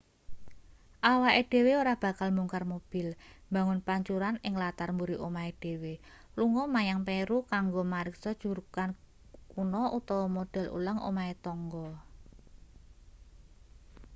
awake dhewe ora bakal mbongkar mobil mbangun pancuran ing latar mburi omahe dhewe lunga menyang peru kanggo mariksa jugrugan kuno utawa model ulang omahe tangga